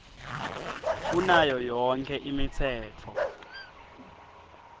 kunayo yonkhe imitsetfo